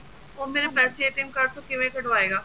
ਉਹ ਮੇਰੇ ਪੈਸੇ card ਤੋਂ ਕਿਵੇਂ ਕੱਢਵਾਏਗਾ